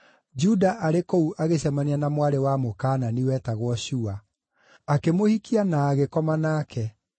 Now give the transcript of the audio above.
Juda arĩ kũu agĩcemania na mwarĩ wa Mũkaanani wetagwo Shua. Akĩmũhikia na agĩkoma nake;